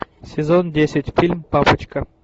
сезон десять фильм папочка